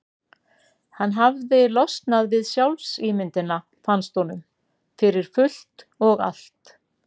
Hann hafði losnað við sjálfsímyndina, fannst honum, fyrir fullt og allt.